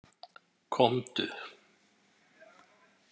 Komdu